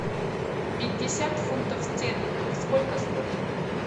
пятьдесят фунтов стерлингов сколько стоит